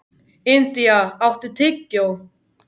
India, áttu tyggjó?